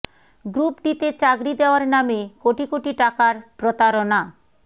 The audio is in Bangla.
গ্রুপ ডি তে চাকরি দেওয়ার নামে কোটি কোটি টাকার প্রতারণা